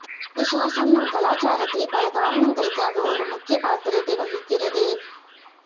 விசுவாசம் நம் கலாச்சாரத்தில் பல காரணங்களுக்காக ஒரு முக்கிய பாத்திரத்தை வகிக்கிறது